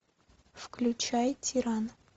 включай тиран